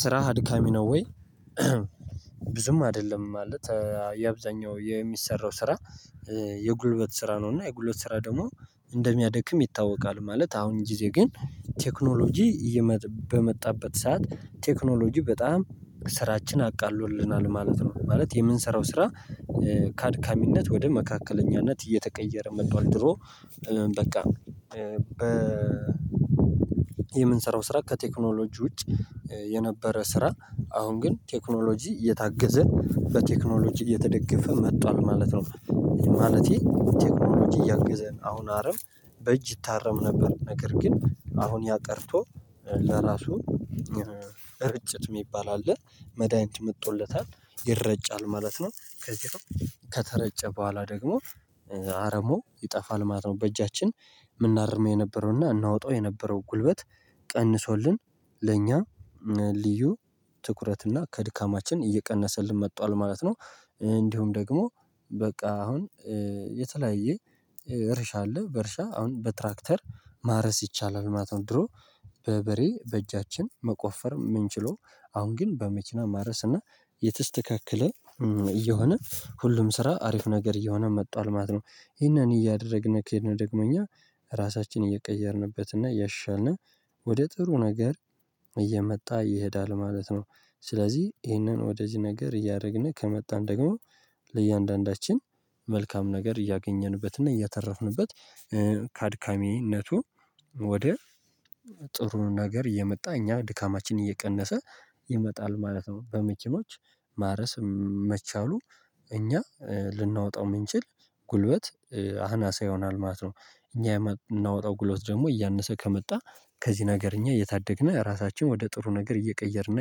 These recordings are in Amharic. ስራህ አድካሚ ነው ወይ? ብዙም አይደለም ማለት የአብዛኛው የሚሰራው ስራ የጉልበት ስራ ነው እና የጉልበት ስራ ደግሞ እንደሚያደክም ይታወቃል። ማለት አሁን ጊዜ ግን ቴክኖሎጂ በመጣበት ሰዓት ቴክኖሎጂ በጣም ስራችን አቃሎልናል ማለት ነው። ማለት የምንሰራው ስራ ካአድካሚነት ወደ መካከለኛነት እየተቀየረ መጥቷል። ድሮ በቃ የምንሰራው ስራ ከቴክኖሎጂ ውጭ የነበረ ስራ አሁን ግን ቴክኖሎጂ እየታገዘ በቴክኖሎጂ እየተደገፈ መቷል ማለት ነው። ማለቴ ቴክኖሎጂ እያገዘን አሁን አረም በእጅ ይታረም ነበር ነገር ግን አሁን ያ ቀርቶ ለራሱ እርጭት የሚባል አለ መዳኒት መጥቶለታል ይረጫል ማለት ነው። ከዚህ ከተረጨ በኋላ ደግሞ አረሞ ይጠፋል ማለት ነው። በእጃችን ምናርም የነበረውና እናወጣው የነበረው ጉልበት ቀንሶልን ለእኛ ልዩ ትኩረት እና ከድካማችን እየቀነሰልን መጥቷል ማለት ነው። እንዲሁም ደግሞ በቃ አሁን የተለያየ እርሻ አለ በእርሻ አሁን በትራክተር ማረስ ይቻላል ማለት ነው። ድሮ በበሬ በእጃችን መቆፈር የምንችለው አሁን ግን በመኪና ማረስ እና የተስተካከለ እየሆነ ሁልም ስራ አሪፍ አየሆነ መቷል ማለት ነው። እያደርግን ከሄድን ደግሞ እኛ ራሳችንን እየቀየርንበትና እያሻልን ወደ ጥሩ ነገር እየመጣ ይሄዳል ማለት ነው። ስለዚህ ይሄንን ወደዚህ ነገር እያደረግን ከመጣን ደግሞ ለእያንዳንዳችን መልካም ነገር እያገኘንበትና እያተረፍንበት ከአድካሚነቱ ወደ ጥሩ ነገር የመጣ እኛ ድካማችን እየቀነሰ ይመጣል ማለት ነው። በመኪኖች ማረስ መቻሉ እኛ ልናወጣው የምንችል ጉልበት አናሳ ይሆናል ማለት ነው። እኛ የምናወጣው ጉልበት ደግሞ እያነሰ ከመጣ ከዚህ ነገር እኛ እየታደግነህ ራሳችንን ወደ ጥሩ ነገር እየቀየርንና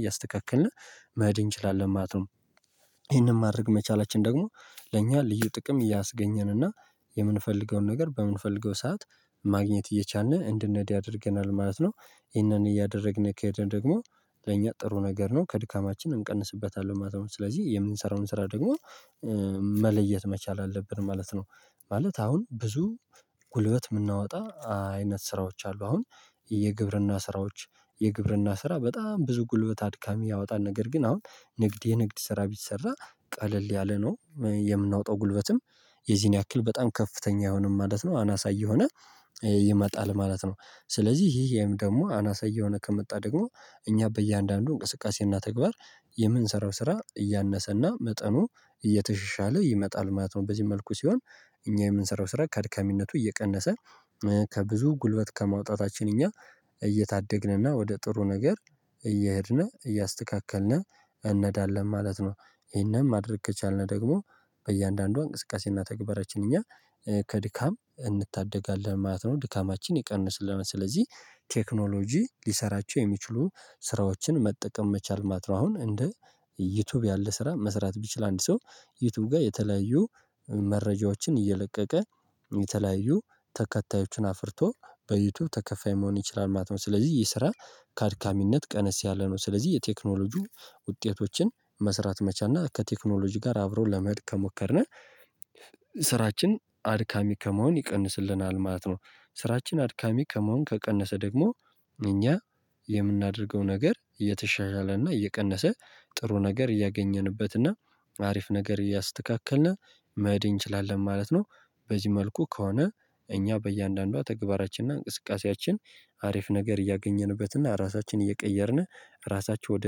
እያስተካከልን መሄድ እንችላለን ማለት ነው። ይህንን ማድረግ መቻላችን ደግሞ ለእኛ ልዩ ጥቅም እያስገኘን እና የምንፈልገውን ነገር በምንፈልገው ሰዓት ማግኘት እየቻልን እንድንሄድ ያደርገናል ማለት ነው። ይሄንን እያደረግን ከሄደን ደግሞ ለእኛ ጥሩ ነገር ነው ከድካማችን እንቀንስበታለን ማለት ነው። ስለዚህ የምንሰራውን ስራ ደግሞ መለየት መቻል አለብን ማለት ነው። ማለት አሁን ብዙ ጉልበት የምናወጣ አይነት ስራዎች አሉ አሁን የግብርና ስራዎች የግብርና ስራ በጣም ብዙ ጉልበት አድካሚ ያወጣል። ነገር ግን አሁን ንግድ የንግድ ስራ ቢሰራ ቀለል ያለ ነው የምናወጣው ጉልበትም የዚህን ያክል በጣም ከፍተኛ አይሆንም ማለት ነው። አናሳ እየሆነ ይመጣል ማለት ነው። ስለዚህ ይሄም ደግሞ አናሳ እየሆነ ከመጣ ደግሞ እኛ በእያንዳንዱ እንቅስቃሴና ተግባር የምንሰራው ስራ እያነሰና መጠኑ እየተሸሻለ ይመጣል ማለት ነው። በዚህ መልኩ ሲሆን እኛ የምንሰራው ስራ ከአድካሚነቱ እየቀነሰ ከብዙ ጉልበት ከማውጣታችን እኛ እየታደግንና ወደ ጥሩ ነገር እየሄድን እያስተካከልን እንሄዳለን ማለት ነው። ይሄንም ማድረግ ከቻልን ደግሞ በእያንዳንዱ እንቅስቃሴና ተግባራችን እኛ ከድካም እንታደጋለን ማለት ነው። ድካማችን ይቀንስልናል ስለዚህ ቴክኖሎጂ ሊሰራቸው የሚችሉ ስራዎችን መጠቀም መቻል ማለት አሁን እንደ ዩቲዩብ ያለ ስራ መስራት ቢችል አንድ ሰው ዩቲዩብ ጋር የተለያዩ መረጃዎችን እየለቀቀ የተለያዩ ተከታዮችን አፍርቶ በዩቲዩብ ተከፋይ መሆን ይችላል ማለት ነው። ስለዚህ ይህ ስራ ከአድካሚነት ቀነስ ያለ ነው። ስለዚህ የቴክኖሎጂው ውጤቶችን መስራት መቻና ከቴክኖሎጂ ጋር አብሮ ለመሄድ ከሞከርነው ስራችን አድካሚ ከመሆን ይቀንስልናል ማለት ነው። ስራችን አድካሚ ከመሆን ከቀነሰ ደግሞ እኛ የምናደርገው ነገር እየተሻሻለና እየቀነሰ ጥሩ ነገር እያገኘንበትና አሪፍ ነገር እያስተካከልን መሄድ እንችላለን ማለት ነው። በዚህ መልኩ ከሆነ እኛ በእያንዳንዷ ተግባራችንና እንቅስቃሴያችን አሪፍ ነገር እያገኘንበትና ራሳችን እየቀየርን ራሳቸው ወደ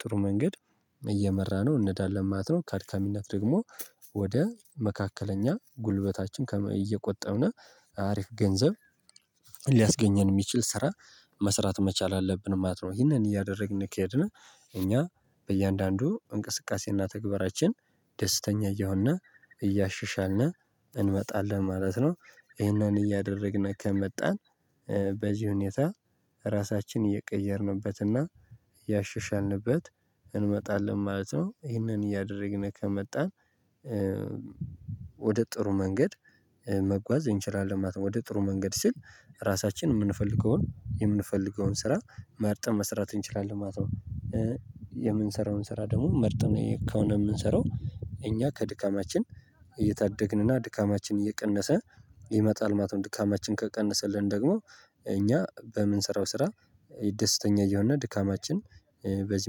ጥሩ መንገድ እየመራ ነው እንሄዳለን ማለት ነው። ከአድካሚነት ደግሞ ወደ መካከለኛ ጉልበታችን እየቆጠብን አሪፍ ገንዘብ ሊያስገኘን የሚችል ስራ መስራት መቻል አለብን ማለት ነው። ይሄንን እያደረግን ከሄድን እኛ በእያንዳንዱ እንቅስቃሴና ተግባራችን ደስተኛ እየሆን እያሸሻልን እንመጣለን ማለት ነው። ይሄንን እያደረግን ከመጣን በዚህ ሁኔታ ራሳችን እየቀየርንበትና እያሻሻልንበት እንመጣለን ማለት ነው። ይሄንን እያደረግን ከመጣን ወደ ጥሩ መንገድ መጓዝ እንችላለን ማለት ነው። ወደ ጥሩ መንገድ ሲል ራሳችን የምንፈልገውን የምንፈልገውን ስራ መርጠን መሰራት እንችላለን ማለት ነው። የምንሰራውን ስራ ደግሞ መርጠን ከሆነ የምንሰራው እኛ ከድካማችን እየታደግንና ድካማችን እየቀነሰ ይመጣል ማለት ነው። ድካማችን ከቀነሰልን ደግሞ እኛ በምንሰራው ስራ ደስተኛ እየሆን ድካማችን በዚህ